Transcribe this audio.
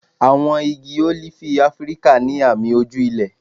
Àwọn igi ólífì Áfíríkà ní àmì ojú ilẹ̀.